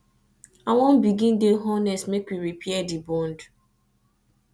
i wan begin dey honest make we repair di bond